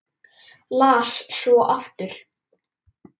Las svo aftur.